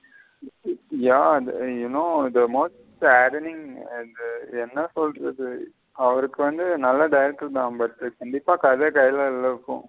ம் yeah there you know the most என்ன சொலுறது அவருக்கு வந்து நல்ல director தா but கண்டிப்பா கத கைல இல்ல இப்போ.